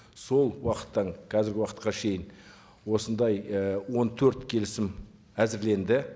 сол уақыттан қазіргі уақытқа шейін осындай і он төрт келісім әзірленді